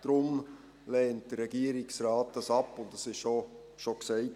Deshalb lehnt der Regierungsrat dies ab, und es wurde auch schon gesagt: